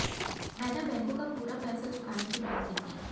मैंने बैंकों का पूरा पैसा चुकाने की बात की थी